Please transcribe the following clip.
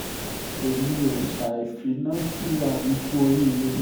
èmi ò ṣahi fínná kíra mi kù oríire